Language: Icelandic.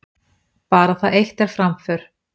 Bara það eitt er framför.